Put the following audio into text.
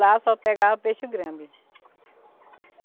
Lá só pegava peixe grande.